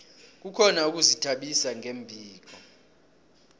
kukhona ukuzithabisa ngombhino